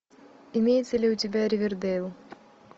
имеется ли у тебя ривердэйл